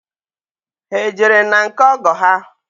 Ha ejere na nke ọgọ ha?